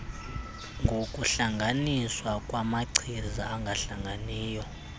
ngokuhlanganiswa kwamachiza angahlanganiyo